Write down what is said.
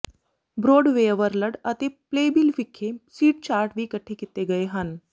BroadwayWorld ਅਤੇ Playbill ਵਿਖੇ seat chart ਵੀ ਇਕੱਠੇ ਕੀਤੇ ਗਏ ਹਨ